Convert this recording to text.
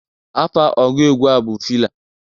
Afa ọgụ egwu a bụ Fịla.